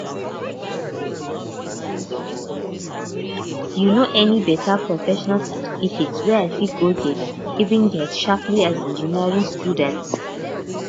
you know any um professional certificate wey i fit um get um um get um as engineering student